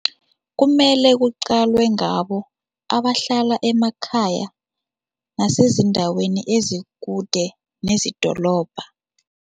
Kumele kuqalwe ngabo abahlala emakhaya nasezindaweni ezikude nezidolobha.